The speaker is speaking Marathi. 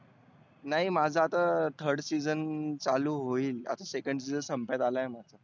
नाही माझ आता third season चालू होईल. आता second season just संपत आला आहे.